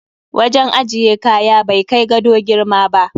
Wajen ajiye kaya bai kai gado girma ba.